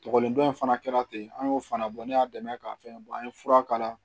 Kɔkɔliden dɔ in fana kɛra ten an y'o fana bɔ ne y'a dɛmɛ k'a fɛn an ye fura k'a la